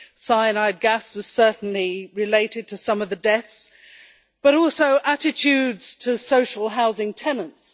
Cyanide gas was certainly related to some of the deaths, but also attitudes to social housing tenants.